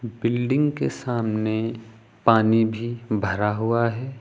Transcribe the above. Building के सामने पानी भी भरा हुआ है।